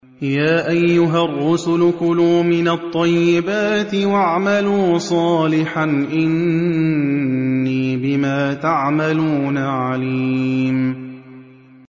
يَا أَيُّهَا الرُّسُلُ كُلُوا مِنَ الطَّيِّبَاتِ وَاعْمَلُوا صَالِحًا ۖ إِنِّي بِمَا تَعْمَلُونَ عَلِيمٌ